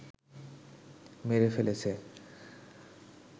মেরে ফেলেছে